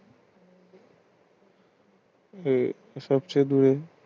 আহ সবচেয়ে বৃহৎ